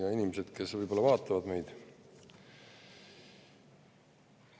Head inimesed, kes võib-olla vaatavad meid!